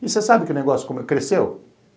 E você sabe que o negócio cresceu?